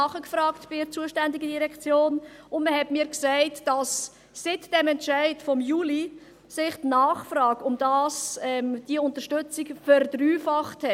Ich habe bei der zuständigen Direktion nachgefragt, und man hat mir gesagt, dass sich die Nachfrage nach dieser Unterstützung seit dem Entscheid vom Juli verdreifacht hat.